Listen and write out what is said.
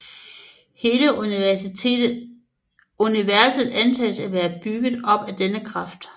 Hele universet antages at være bygget op af denne kraft